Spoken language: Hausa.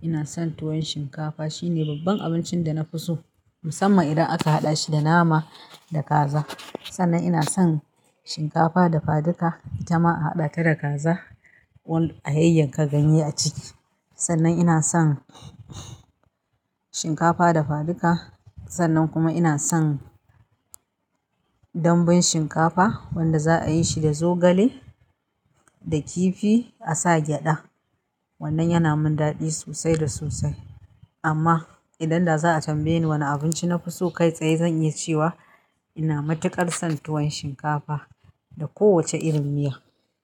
ina son tuwon shinkafa. Shine babban abincin da nafi so musamman idan aka haɗa shi da nama da kaza. Sannan ina son shinkafa dafaduka, itama a haɗa ta da kaza a yayyanka ganye a ciki. Sannan ina son shinkafa dafaduka, sannan kuma ina son dambun shinkafa wanda za'a yi shi da zogale da kifi a sa gyaɗa. Wannan yana min daɗi sosai da sosai. Amma idan da za a tambaye ni wane abinci nafi so kai tsaye zan iya cewa ina matuƙar son tuwon shinkafa da kowacce irin miya.